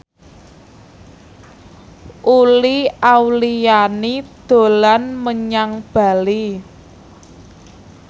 Uli Auliani dolan menyang Bali